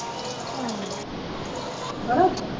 ਹੈ ਨਾ